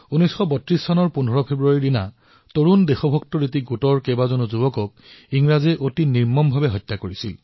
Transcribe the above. ১৫ ফেব্ৰুৱাৰী ১৯৩২ চনত দেশভক্তৰ এটা দলৰ বহু বীৰ যুৱকক ইংৰাজসকলে নিৰ্মমভাৱে হত্যা কৰে